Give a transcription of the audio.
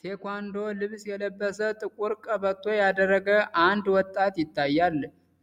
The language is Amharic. ታይክዎንዶ ልብስ የለበሰ፣ ጥቁር ቀበቶ ያደረገ አንድ ወጣት ይታያል።